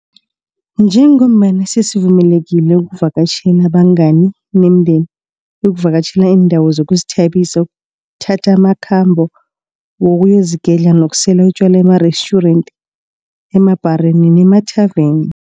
Njengombana sesivumelekile ukuvakatjhela abangani nemindeni, ukuvakatjhela iindawo zokuzithabisa, ukuthatha amakhambo wokuyozigedla nokusela utjwala emarestjurenti, emabhareni nemathaveni.